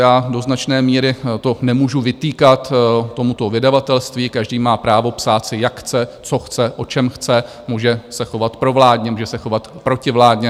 Do značné míry to nemůžu vytýkat tomuto vydavatelství, každý má právo psát si, jak chce, co chce, o čem chce, může se chovat provládně, může se chovat protivládně.